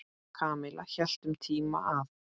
Kamilla hélt um tíma að